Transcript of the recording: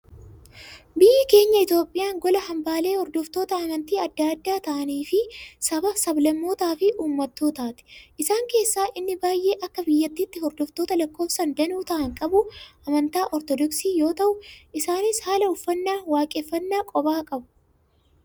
Biyyi keenya Itoophiyaan gola hambaalee hordoftoota amantii addaa addaa ta'anii fi saba, sablammootaa fi uummattootaati. Isaan keessaa inni baayyee akka biyyattiitti hordoftoota lakkoofsaan danuu ta'an qabu, amantaa Ortoodoksii yoo ta'u, isaanis haala uffannaa waaqeffannaa kophaa qabu.